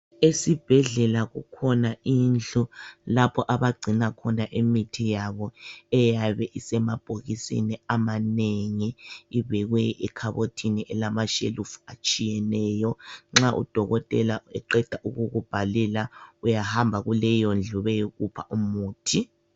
Esibhedlela kukhona indlu lapho abagcina khona imithi yabo eyabe isemabhokisini amanengi ibekwe ekhabothini elamashelufu atshiyeneyo nxa udokotela eqeda ukukubhalela uyahamba kuleyondlu beyokupha umuthi.